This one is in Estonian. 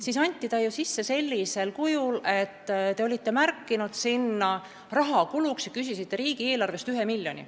Eelnõu anti üle sellisel kujul, et te olite märkinud sinna rahakuluks 1 miljoni, mis pidi tulema riigieelarvest.